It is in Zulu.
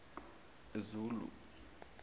zulu